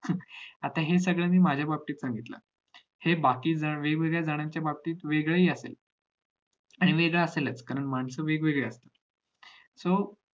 आता हे सगळं हे मी माझ्या बाबतीत सांगितलं हे बाकी वेगवेगळ्या जणांच्या बाबतीत वेगळंहि असेल आणि वेगळं असेलच कारण मानस हि वेगवेगळी आहेत so